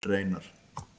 Reynar